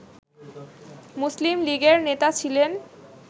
মুসলিম লীগের নেতা ছিলেন